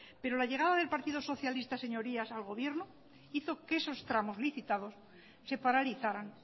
pero la llegada del partido socialista señorías al gobierno hizo que esos tramos licitados se paralizaran